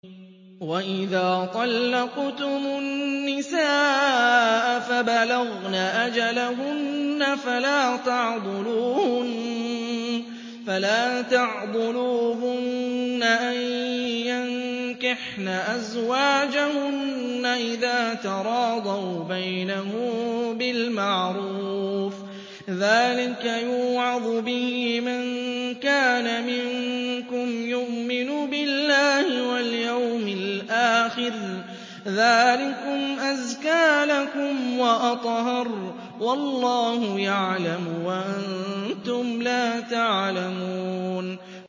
وَإِذَا طَلَّقْتُمُ النِّسَاءَ فَبَلَغْنَ أَجَلَهُنَّ فَلَا تَعْضُلُوهُنَّ أَن يَنكِحْنَ أَزْوَاجَهُنَّ إِذَا تَرَاضَوْا بَيْنَهُم بِالْمَعْرُوفِ ۗ ذَٰلِكَ يُوعَظُ بِهِ مَن كَانَ مِنكُمْ يُؤْمِنُ بِاللَّهِ وَالْيَوْمِ الْآخِرِ ۗ ذَٰلِكُمْ أَزْكَىٰ لَكُمْ وَأَطْهَرُ ۗ وَاللَّهُ يَعْلَمُ وَأَنتُمْ لَا تَعْلَمُونَ